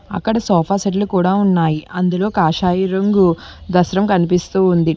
అక్కడ సోఫా సెట్లు కూడ ఉన్నాయి అందులో కాషాయి రంగు దస్త్రం కనిపిస్తూ ఉంది.